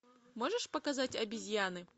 можешь показать обезьяны